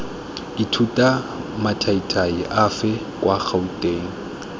ithuta mathaithai afe kwa gouteng